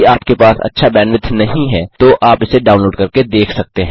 यदि आपके पास अच्छा बैंडविड्थ नहीं है तो आप इसे डाउनलोड करके देख सकते हैं